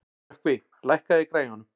Rökkvi, lækkaðu í græjunum.